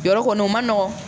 Yɔrɔ kɔni o man nɔgɔn